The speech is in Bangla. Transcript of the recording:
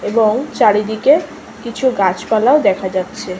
এবং চারিদিকে কিছু গাছপালা দেখা যাচ্ছে।